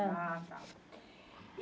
Ah, tá. E